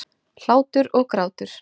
Hlátur og grátur.